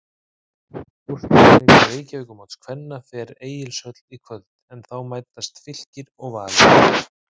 Úrslitaleikur Reykjavíkurmóts kvenna fer Egilshöll í kvöld en þá mætast Fylkir og Valur.